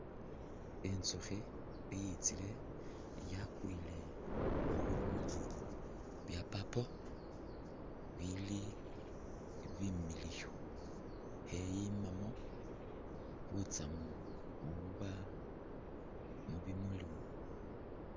Intsukhi i'itsile yakwile khubimuli bya' purple bili bimiliyu kheyimamo butsamu bububa mubimulumo